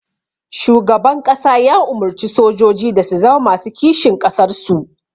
Shugaban ƙasa ya umurci sojoji da su zama masu kishin ƙasar su